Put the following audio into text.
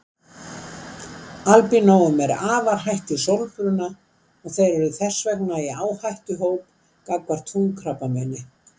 Albínóum er afar hætt við sólbruna og þeir eru þess vegna í áhættuhóp gagnvart húðkrabbameini.